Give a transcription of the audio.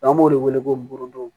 N'an b'o de wele ko mugundon